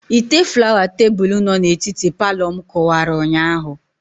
Ite flawa tebụl no na etiti Palọ mụ kụwara ụnyaahụ